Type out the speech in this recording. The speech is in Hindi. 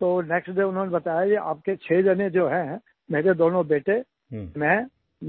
तो नेक्स्ट डे उन्होंने बताया कि आपके जो छः जने जो हैं मेरे दोनों बेटे मैं